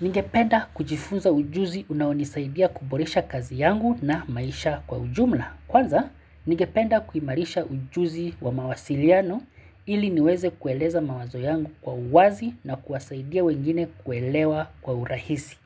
Ningependa kujifunza ujuzi unaonisaidia kuboresha kazi yangu na maisha kwa ujumla. Kwanza, ningependa kuimarisha ujuzi wa mawasiliano ili niweze kueleza mawazo yangu kwa uwazi na kuwasaidia wengine kuelewa kwa urahisi.